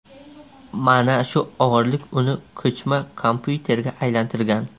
Mana shu og‘irlik uni ko‘chma kompyuterga aylantirgan.